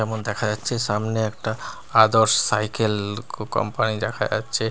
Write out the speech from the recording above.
এবং দেখা যাচ্ছে সামনে একটা আদর্শ সাইকেল ক কোম্পানি দেখা যাচ্ছে।